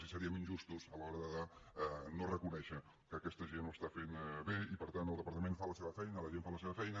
i seriem injustos a l’hora de no reconèixer que aquesta gent ho està fent bé i per tant el departament fa la seva feina la gent fa la seva feina